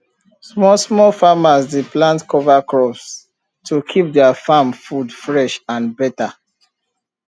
small small farmers dey plant cover crops to keep their farm food fresh and better